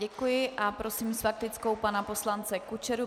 Děkuji a prosím s faktickou pana poslance Kučeru.